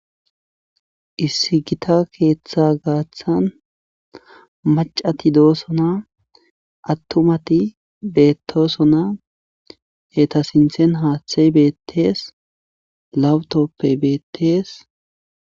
Issi gita keetha gaathan maccati doosona attumati beettoosona eta sinthen haathey beetees laptooppey beettees.